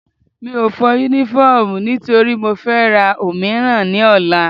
Mi ò fọ Únífọ́ọ̀mù nítorí mo fẹ́ ra òmíràn ní ọ̀la